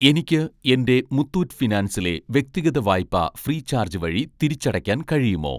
എനിക്ക് എൻ്റെ മുത്തൂറ്റ് ഫിനാൻസിലെ വ്യക്തിഗത വായ്പ ഫ്രീചാർജ് വഴി തിരിച്ചടയ്ക്കാൻ കഴിയുമോ?